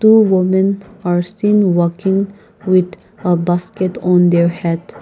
two women are still walking with a basket on their head.